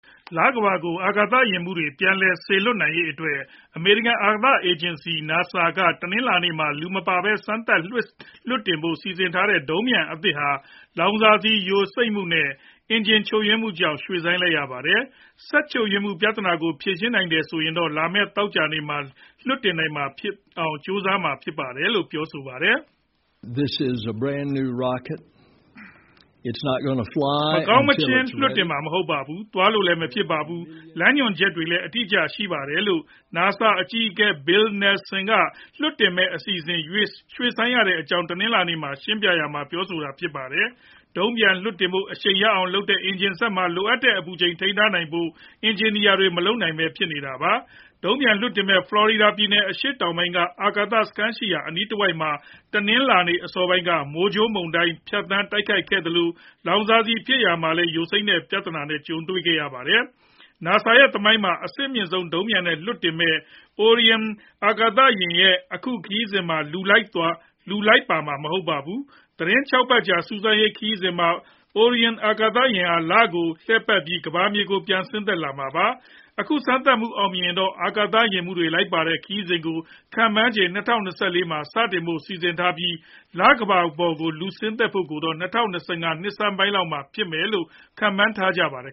လကမ္ဘာကို အာကာသယာဉ်မှူးတွေ ပြန်လည်စေလွှတ်နိုင်ရေးအတွက် အမေရိကန် အာကာသ အေဂျင်စီ NASA က တနင်္လာနေ့မှာ လူမပါဘဲ စမ်းသပ် လွှတ်တင်ဖို့ စီစဉ်ထားတဲ့ ဒုံးပျံအသစ်ဟာ လောင်စာဆီယိုစိမ့်မှုတွေနဲ့ အင်ဂျင်ချို့ယွင်းမှုကြောင့် ရွှေ့ဆိုင်းလိုက်ရပါတယ်။ စက်ချို့ယွင်းမှု ပြဿနာတွေကို ဖြေရှင်းနိုင်တယ်ဆိုရင်တော့ လာမဲ့ သောကြာနေ့မှာ လွှတ်တင်နိုင်ဖို့ ကြိုးစားမှာ ဖြစ်ပါတယ်။ “မကောင်းမချင်း လွှတ်တင်မှာ မဟုတ်ပါဘူး။ သွားလို့လည်း မဖြစ်ပါဘူး။ လမ်းညွှန်ချက်တွေလည်း အတိအကျ ရှိပါတယ်” လို့ NASA အကြီးအကဲ Bill Nelson လွှတ်တင်မယ့် အစီအစဉ် ရွှေ့ရတဲ့အကြောင်းကို တနင်္လာနေ့က ရှင်းပြရာမှာ ပြောဆိုသွားတာ ဖြစ်ပါတယ်။ ဒုံးပျံလွှတ်တင်ဖို့ အရှိန်ရအောင်လုပ်ရတဲ့ အင်ဂျင်စက်မှာ လိုအပ်တဲ့ အပူချိန်ကို ထိန်းထားဖို့ အင်ဂျင်နီယာတွေ မလုပ်နိုင်ဘဲ ဖြစ်နေတာပါ။ ဒုံးပျံလွှတ်တင်မယ့် ဖလော်ရီဒါပြည်နယ် အရှေ့တောင်ပိုင်းက အာကာသစခန်းရှိရာ အနီးတဝိုက်မှာ တနင်္လာနေ့ အစောပိုင်းက မိုးကြိုးမုန်တိုင်း ဖြတ်သန်းတိုက်ခတ်ခဲ့သလို၊ လောင်စာဆီဖြည့်ရာမှာလည်း ယိုစိမ့်တဲ့ ပြဿနာနဲ့ ကြုံခဲ့ရပါတယ်။ NASA သမိုင်းမှာ အဆင့်အမြင့်ဆုံး ဒုံးပျံနဲ့ လွှတ်တင်မယ့် Orion အာကာသယာဉ်ရဲ့ အခုခရီးစဉ်မှာတော့ လူလိုက်ပါသွားမှာ မဟုတ်ပါဘူး။ သီတင်း ၆ ပတ်လောက်ကြာ စူးစမ်းရေးခရီးစဉ်မှာ Orion အာကာသယာဉ်ဟာ လကိုလှည့်ပတ်ပြီး ကမ္ဘာမြေကို ပြန်လည်ဆင်းသက်မှာပါ။ အခုစမ်းသပ်မှု အောင်မြင်ခဲ့ရင်တော့ အာကာသယာဉ်မှူးတွေ လိုက်ပါတဲ့ ခရီးစဉ်ကို ခန့်မှန်းခြေ ၂၀၂၄ ခုနှစ်မှာ စတင်ဖို့ စီစဉ်ထားပြီး၊ လကမ္ဘာပေါ် ဆင်းသက်ဖို့ကိုတော့ ၂၀၂၅ ခုနှစ်ဆန်းပိုင်းလောက်မှာ ဖြစ်မယ်လို့ ခန့်မှန်းထားပါတယ်